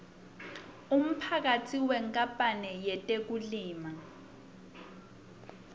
umphatsi wenkapanl yetekulima